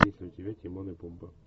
есть ли у тебя тимон и пумба